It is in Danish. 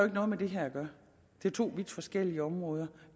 noget med det her at gøre det er to vidt forskellige områder